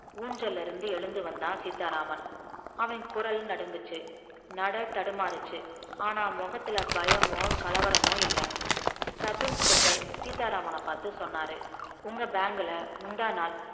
ஊஞ்சல்ல இருந்து எழுந்து வந்தா சீத்தா ராமன் அவன் குரல் நடுன்குச்சி நட தடுமாரிச்சி ஆனா முகத்துல பயமோ கலவரமோ இல்ல sub inspector சீத்தா ராமன பாத்து சொன்னாரு உங்க bank ல முந்தாநாள்